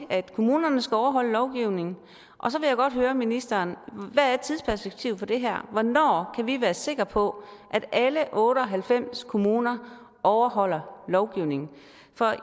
at kommunerne skal overholde lovgivningen og så vil jeg godt høre ministeren hvad tidsperspektivet for det her er hvornår kan vi være sikre på at alle otte og halvfems kommuner overholder lovgivningen